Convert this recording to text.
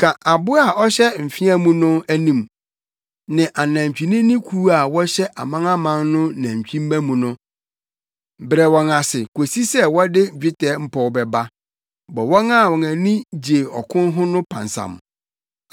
Ka aboa a ɔhyɛ mfea mu no anim, ne anantwinini kuw a wɔhyɛ amanaman no nantwimma mu no. Brɛ wɔn ase kosi sɛ wɔde dwetɛ mpɔw bɛba. Bɔ wɔn a wɔn ani gye ɔko ho no pansam.